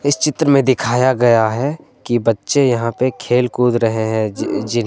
चित्र में दिखाया गया है कि बच्चे यहां पे खेल-कूद रहे हैं। जी जिन्हें--